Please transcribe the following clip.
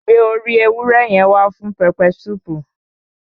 Gbé orí ewúrẹ́ yẹn wá fún pẹpẹ súùpù.